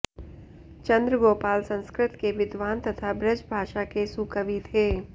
चंद्रगोपाल संस्कृत के विद्वान् तथा ब्रजभाषा के सुकवि थे